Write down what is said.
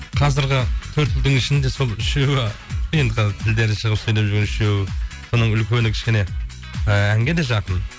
қазіргі төрт ұлдың ішінде сол үшеуі енді қазір тілдері шығып сөйлеп жүрген үшеуі соның үлкені кішкене әнге де жақын